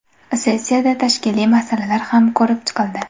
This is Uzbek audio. Sessiyada tashkiliy masalalar ham ko‘rib chiqildi.